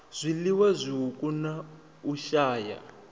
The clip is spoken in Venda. zwiliwa zwiuku na u shaya